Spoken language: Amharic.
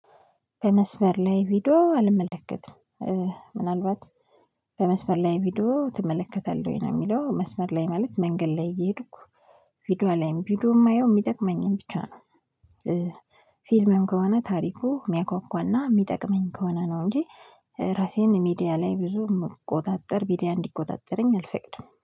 በመስመር ላይ ቪዲዮ አልመለከትም ምናልባት በመስመር ላይ ቪዲዮ ትመለከታለህ ነው የሚለው መስመር ላይ ማለት መንገድ ላይ እየሄድኩ ቪዲዮ አላይም። ቪዲዮ የማየው የሚጠቅመኝን ብቻ ነው ፊልምም ከሆነ ታሪኩ የሚያጓጓና የሚጠቅመኝ ከሆነ ነው እንጂ ራሴን ሚዲያ ላይ ብዙ የምቆጣጥር ሚዲያ እንዲቆጣጠረኝ አልፈቅድም